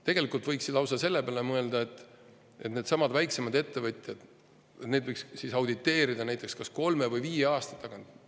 Tegelikult võiks ju lausa selle peale mõelda, et neidsamu väiksemaid ettevõtteid võiks auditeerida näiteks kas kolme või viie aasta tagant.